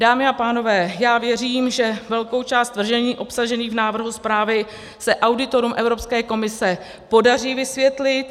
Dámy a pánové, já věřím, že velkou část tvrzení obsažených v návrhu zprávy se auditorům Evropské komise podaří vysvětlit.